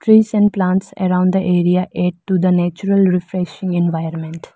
Tress and plants around the area add to the natural refreshing environment.